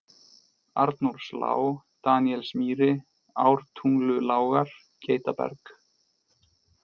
Arnórslág, Daníelsmýri, Ártungulágar, Geitaberg